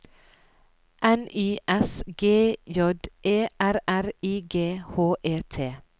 N Y S G J E R R I G H E T